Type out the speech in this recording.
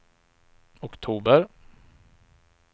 oktober